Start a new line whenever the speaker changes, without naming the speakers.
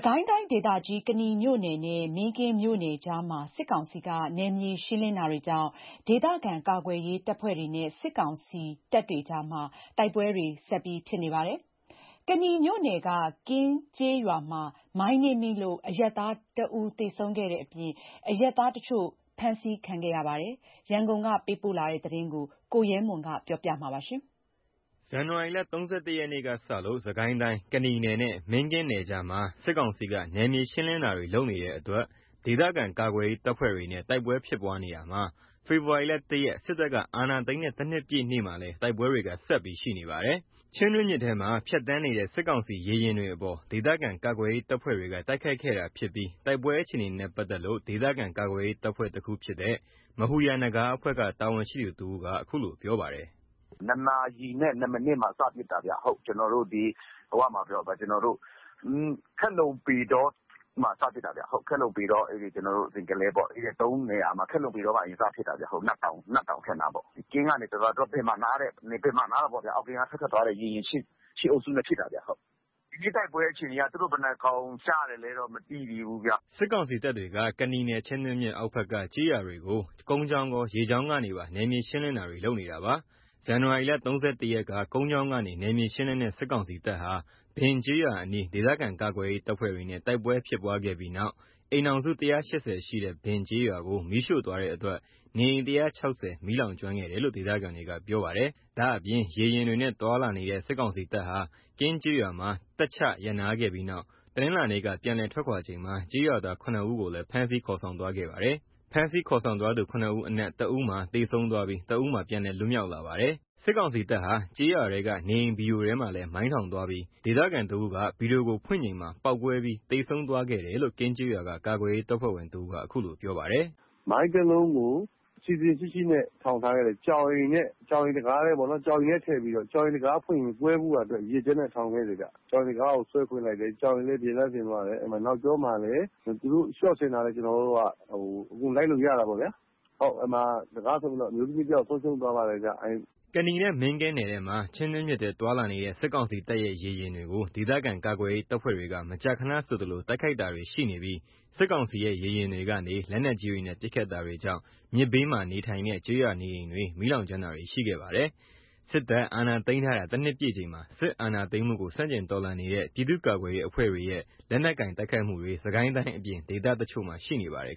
ကိုင်းတိုင်းဒေသကြီး ကနီမြို့နယ်နဲ့ မင်းကင်းမြို့နယ်ကြားမှာ စစ်ကောင်စီက နယ်မြေရှင်းလင်းတာတွေကြောင့် ဒေသခံ ကာကွယ်ရေးတပ်ဖွဲ့တွေနဲ့ စစ်ကောင်စီတို့ တိုက်ပွဲတွေ ဆက်ရှိနေပါတယ်။ ကနီမြို့နယ်က ကင်းကျေးရွာမှာ မိုင်းနင်းမိလို့ အရပ်သား တဦးသေဆုံးခဲ့တဲ့အပြင်၊ အရပ်သားတချို့ ဖမ်းဆီးခံခဲ့ရပါတယ်။ရန်ကုန်ကလာတဲ့သတင်းကို ကိုရဲမွန်ကပြောပြပါမယ်။
ဇန်နဝါရီ ၃၁ ရက်ကစလို့ စစ်ကိုင်းတိုင်း ကနီမြို့နယ်နဲ့ မင်းကင်းမြို့နယ်ကြားမှာ စစ်ကောင်စီက နယ်မြေရှင်းလင်းတာတွေလုပ်နေတဲ့အတွက် ဒေသခံကာကွယ်ရေးတပ်ဖွဲ့တွေနဲ့ တိုက်ပွဲဖြစ်ပွားနေတာမှာ ဖေဖော်ဝါရီ ၁ ရက် စစ်တပ်က အာဏာသိမ်းတဲ့ ၁ နှစ်ပြည့်နေ့မှာလည်း တိုက်ပွဲတွေက ဆက်ရှိနေပါတယ်။ ချင်းတွင်းမြစ်ထဲမှာ ဖြတ်သန်းနေတဲ့ စစ်ကောင်စီရေယာဉ်တွေအပေါ် ဒေသခံကာကွယ်ရေး တပ်ဖွဲ့တွေက တိုက်ခိုက် ခဲ့တာဖြစ်ပြီး တိုက်ပွဲအခြေအနေနဲ့ ပတ်သက်လို့ ဒေသခံကာကွယ်ရေးတပ်ဖွဲ့တခုဖြစ်တဲ့ မဟူရာ နဂါးအဖွဲ့က တာဝန်ရှိသူတဦးက အခုလိုပြောပါတယ်။
နာရီနဲ့ ၂ မိနစ်မှာ စဖြစ်တာခင်ဗျ။ ကျွန်တော်တို့ ခက်လုံ ၊ ပေတောမှာ စဖြစ်တာ။ ကျွန်တော်တို့ ခက်လုံ ပေတော ဇင်ကလဲပေါ့ ။ ၃ နေရာပေါ့ ။ ခက်လုံ ပေတောမှာ စဖြစ်တာ နတ်တောင် အထက်နားပေါ့။ ကင်းကနေ ဘင်မှာ နားတာပေါ့။ အောက်ကင်းက
နေ ထွက်လာတဲ့ ရေယာဉ် ၈ စီးအုပ်စုနဲ့ ဖြစ်
တာခင်ဗျ။ ဒီနေ့ တိုက်ပွဲအခြေအနေက သူတို့ဘယ်လောက်ကျလည်
း စစ်ကောင်စီတပ်တွေက ကနီနယ် ချင်းတွင်းမြစ် အောက်ဖက်က ကျေးရွာတွေကို ကုန်းကြောင်းကော ရေကြောင်းကောကပါ နယ်မြေရှင်းလင်းတာတွေလုပ်နေတာပါ။ ဇန်နဝါရီ ၃၁ ရက်က ကုန်းကြောင်းကနေ နယ်မြေရှင်းလင်းတဲ့ စစ်ကောင်စီတပ်ဟာ ဘင်ကျေးရွာအနီး ဒေသခံကာကွယ်ရေး တပ်ဖွဲ့တွေနဲ့ တိုက်ပွဲဖြစ်ပွားခဲ့ပြီးနောက် အိမ်ထောင်စု ၁၈၀ ရှိတဲ့ ဘင်ကျေးရွာကို မီးရှို့သွားတဲ့အတွက် နေအိမ် ၁၆၀ မီးလောင် ကျွမ်းခဲ့တယ်လို့ ဒေသခံတွေက ပြောပါတယ်။ ဒါ့အပြင် ရေယာဉ်တွေနဲ့ သွားလာနေတဲ့ စစ်ကောင်စီတပ်ဟာ ကင်းကျေးရွာမှာ တပ်ချရပ်နားခဲ့ပြီးနောက် တနင်္လာနေ့က ပြန်လည်ထွက်ခွါချိန်မှာ ကျေးရွာသား ၇ ဦးကိုလည်း ဖမ်းဆီးခေါ်ဆောင်သွားခဲ့ပါတယ်။ ဖမ်းဆီးခေါ်ဆောင်သွားသူ ၇ ဦး အနက် ၁ ဦးမှာ သေဆုံးသွားပြီး ၁ ဦးမှာ ပြန်လည် လွတ်မြောက်လာပါတယ်။ စစ်ကောင်စီတပ်ဟာ ကျေးရွာထဲက နေအိမ်ဗီဒိုထဲမှာလည်း မိုင်းထောင်သွားပြီး ဒေသခံတဦးက ဗီဒိုကို ဖွင့်ချိန်မှာ ပေါက်ကွဲပြီး သေဆုံးသွားခဲ့တယ်လို့ ကင်းကျေးရွာ ကာကွယ်ရေး တပ်ဖွဲ့ဝင်တဦးက အခုလို ပြောပါတယ်။
အစီအစဉ်ရှိရှိနဲ့ထောင်ခဲ့တယ်။ ကြောင်အိမ်တံခါးနဲ့ ကြောင်အိမ်ထဲထည့်ပြီးတော့ ကြောင်အိမ် တံခါးဖွင့်တဲ့အချိန်မှာ ကွဲဖို့ရာအတွက် ရည်ရွယ်ချက်နဲ့ ေ ထာင်ခဲ့တယ်ခင်ဗျ။ ကြောင်အိမ်ကို ဆွဲဖွင့်လိုက်တော့ ကြောင်အိမ်လည်း ပျက်စီးသွားတယ် နောက်ကျောမှာလည်း သူတို့ရှော့ဆင်ထားတာ အကုန်လိုက်လို့ရတယ်။ အဲ့မှာ တံခါးကို ဆွဲဖွင့်လိုက်တော့ အမျိုးသမီး တယောက်
ကနီမြို့နယ် နဲ့ မင်းကင်းမြို့နယ်ထဲမှာ ချင်းတွင်းမြစ်ထဲသွားလာနေတဲ့ စစ်ကောင်စီတပ်ရဲ့ရေယာဉ်တွေကို ဒေသခံကာကွယ်ရေး တပ်ဖွဲ့တွေက မကြာခဏဆိုသလို တိုက်ခိုက်တာတွေရှိပြီး စစ်ကောင်စီရဲ့ ရေယာဉ်တွေကနေ လက်နက်ကြီးတွေနဲ့ ပစ်ခတ်တာတွေကြောင့် မြစ်ဘေးနေထိုင်တဲ့ ကျေးရွာနေအိမ်တွေ မီးလောင်ကျွမ်းတာတွေရှိခဲ့ပါတယ်။ စစ်တပ်အာဏာသိမ်းထားတာ ၁ နှစ်ပြည့်ချိန်မှာ စစ်အာဏာသိမ်းမှုကို ဆန့်ကျင်တော်လှန်နေတဲ့ ပြည်သူ့ကာကွယ်ရေးအဖွဲ့တွေရဲ့ လက်နက်ကိုင် တိုက်ခိုက်မှုတွေစစ်ကိုင်းတိုင်းအပြင် ဒေသတချို့မှာ ရှိနေပါတယ်